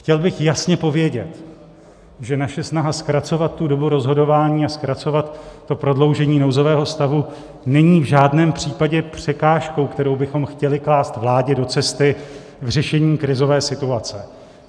Chtěl bych jasně povědět, že naše snaha zkracovat tu dobu rozhodování a zkracovat to prodloužení nouzového stavu není v žádném případě překážkou, kterou bychom chtěli klást vládě do cesty v řešení krizové situace.